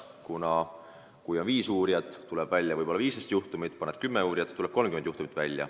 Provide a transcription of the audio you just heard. Kui asjaga tegeleb viis uurijat, tuleb välja võib-olla 15 juhtumit, paned tööle kümme uurijat, tuleb välja 30 juhtumit.